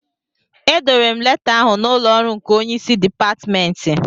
Edowere m leta ahụ n'ụlọ ọrụ nke onye isi Dipatmentị